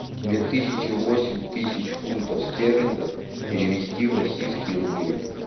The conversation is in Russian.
две тысячи восемь тысяч фунтов стерлингов перевести в российские рубли